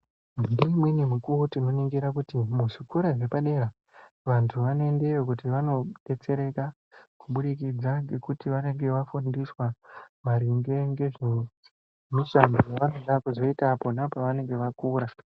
Ngeumweni mukuwo tinoningira kuti muzvikora zvepadera vantu vanoendeyo kuti vandodetsereka kubudikidza ngekuti vanenge vafundiswa maringe ngezvemishando yevanoda kuzoita pona pavanenge vakura.